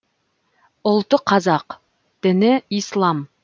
ұлты қазақ діні ислам